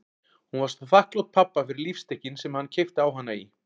Hún var svo þakklát pabba fyrir lífstykkin sem hann keypti á hana í